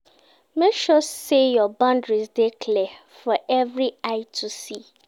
Make sure say your boundaries de clear for every eye to see